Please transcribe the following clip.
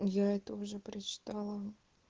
я это уже прочитала